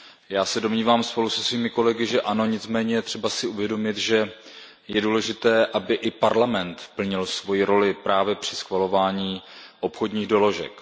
Já se domnívám spolu se svými kolegy, že ano, nicméně je třeba si uvědomit, že je důležité, aby i Parlament plnil svou roli při schvalování obchodních doložek.